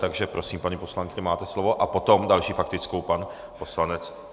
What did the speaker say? Takže prosím, paní poslankyně, máte slovo a potom další faktickou pan poslanec...